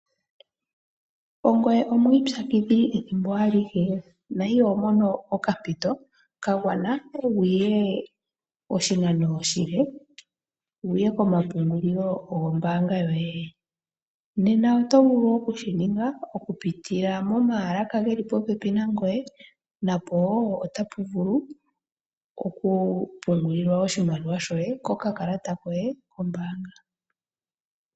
Ongoye omwiipyakidhili ethimbo alihe na iho mono okampito kagwana wuye oshinano oshile? Wuye komapungulilo gombaanga yoye? Nena oto vulu okushi ninga oku pitila momaalaka geli popepi nangoye. Napo wo oto vulu oku pungulila oshimaliwa shoye kokakalata koye kombaanga.